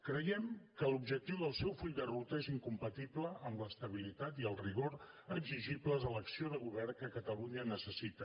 creiem que l’objectiu del seu full de ruta és incompatible amb l’estabilitat i el rigor exigibles a l’acció de govern que catalunya necessita